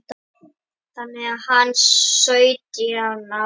Þannig var hann sautján ára og þannig átti hann eftir að vera næstu áratugina.